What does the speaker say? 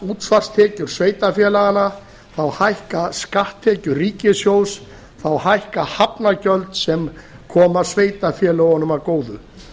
útsvarstekjur sveitarfélaganna þá hækka skatttekjur ríkissjóðs þá hækka hafnargjöld sem koma sveitarfélögunum að góðu